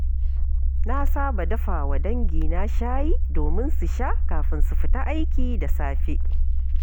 Na saba dafa wa dangina shayi domin su sha kafin su fita aiki da safe.